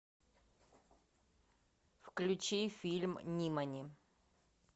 включи фильм нимани